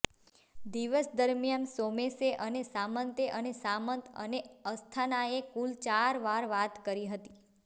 દિવસ દરમિયાન સોમેશ અને સામંતે અને સામંત અને અસ્થાનાએ કુલ ચાર વાર વાત કરી હતી